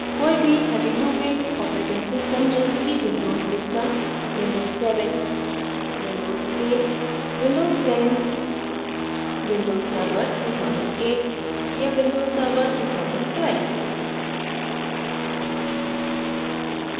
कोई भी 32bit operating system जैसे कि windows vista windows 7 windows 8 windows 10 windows server 2008 या windows server 2012